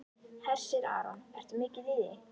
Hersir Aron: Ertu mikið í því?